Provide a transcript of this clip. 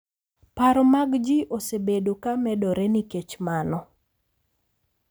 Paro mag ji osebedo ka medore nikech mano,